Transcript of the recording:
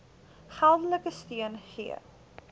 geldelike steun gee